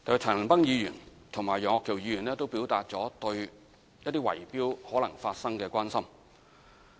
陳恒鑌議員和楊岳橋議員也表達了對維修可能發生圍標的關心。